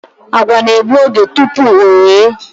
Àgwà na-egbu oge tupu o ghe